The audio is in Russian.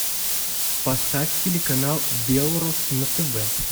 поставь телеканал белрос на тв